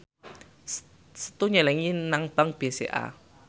Setu nyelengi nang bank BCA